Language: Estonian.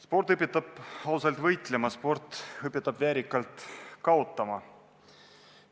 Sport õpetab ausalt võitlema, sport õpetab väärikalt kaotama.